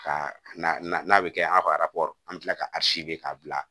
Ka na n'a bɛ kɛ an ka an bɛ tila ka k'a bila